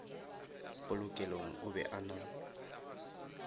polokelong o be a na